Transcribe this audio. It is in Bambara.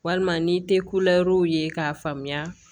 Walima n'i tɛ kulɛriw ye k'a faamuya